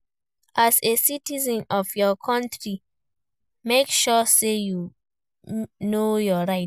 As a citizen of your country make sure say you know your right